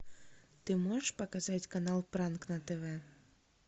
ты можешь показать канал пранк на тв